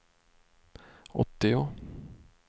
åttio